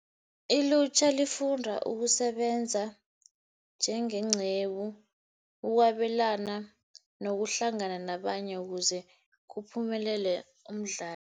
Ilutjha lifunda ukusebenza njengenqebu ukwabelana nokuhlangana nabanye ukuze kuphumelele umdlalo.